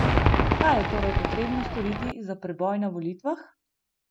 Kaj je torej potrebno storiti za preboj na volitvah?